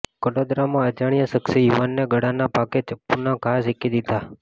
કડોદરામાં અજાણ્યા શખ્સે યુવાનને ગળાના ભાગે ચપ્પુના ઘા ઝીંકી દીધા